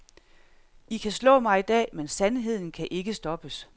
I kan slå mig i dag, men sandheden kan ikke stoppes.